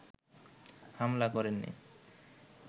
হামলা করেননি